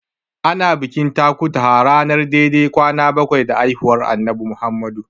Ana bikin takutaha ranar dai-dai da kwana bakwai da haihuwar Annabi Muhammadu.